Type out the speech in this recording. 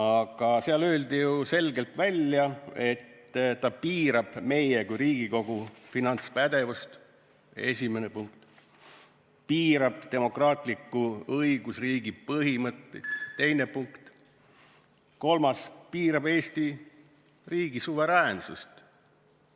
Aga seal öeldi selgelt välja, et see mehhanism piirab meie kui Riigikogu finantspädevust – seda esiteks –, piirab demokraatliku õigusriigi põhimõtteid – teine punkt – ja kolmas punkt: piirab Eesti riigi suveräänsust.